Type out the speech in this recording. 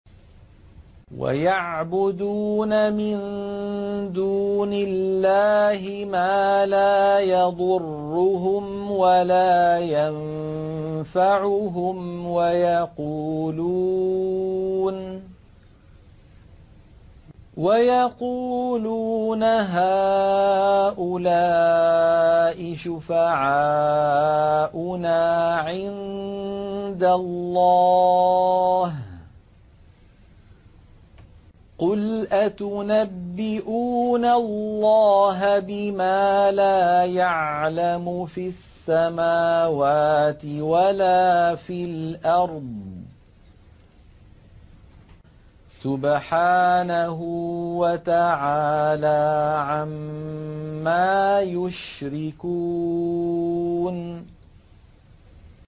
وَيَعْبُدُونَ مِن دُونِ اللَّهِ مَا لَا يَضُرُّهُمْ وَلَا يَنفَعُهُمْ وَيَقُولُونَ هَٰؤُلَاءِ شُفَعَاؤُنَا عِندَ اللَّهِ ۚ قُلْ أَتُنَبِّئُونَ اللَّهَ بِمَا لَا يَعْلَمُ فِي السَّمَاوَاتِ وَلَا فِي الْأَرْضِ ۚ سُبْحَانَهُ وَتَعَالَىٰ عَمَّا يُشْرِكُونَ